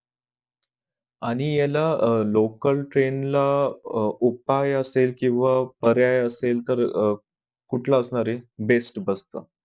आणि याला अह local train ला उपाय असेल किंवा पर्याय असेल तर अह कुठला असणार आहे best bus चा